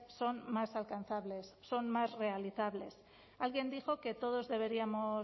son más alcanzables son más realizables alguien dijo que todos deberíamos